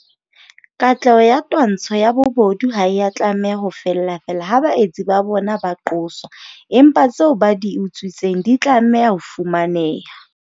Katleho ya twantsho ya bobodu ha e a tlameha ho fella feela ha baetsi ba bona ba qoswa, empa tseo ba di utswitseng di tla tlameha ho fumaneha.